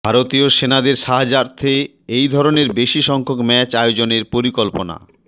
ভারতীয় সেনাদের সাহার্যার্থে এই ধরণের বেশি সংখ্যক ম্যাচ আয়োজনের পরিকল্পনা